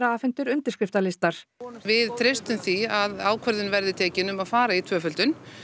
afhentir undirskriftalistar við treystum því að ákvörðun verði tekin um að fara í tvöföldun